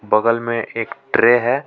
बगल में एक ट्रे है.